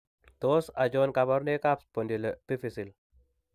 Tos achon kabarunaik ab Spondyloepiphyseal ?